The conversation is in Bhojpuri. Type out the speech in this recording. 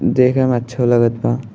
देखे में अच्छो लागत बा।